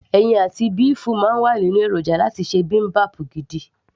ẹyin àti béèfù máa ń wà nínú èròjà láti ṣe bibimbap gidi